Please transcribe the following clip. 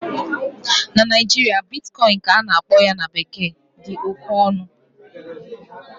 na Naijiria, Bitcoin ka a na-akpọ ya na bekee dị oke ọnụ